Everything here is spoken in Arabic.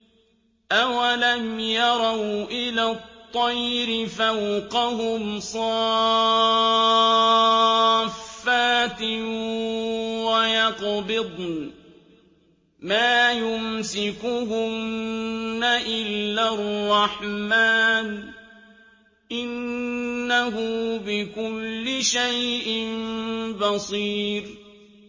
أَوَلَمْ يَرَوْا إِلَى الطَّيْرِ فَوْقَهُمْ صَافَّاتٍ وَيَقْبِضْنَ ۚ مَا يُمْسِكُهُنَّ إِلَّا الرَّحْمَٰنُ ۚ إِنَّهُ بِكُلِّ شَيْءٍ بَصِيرٌ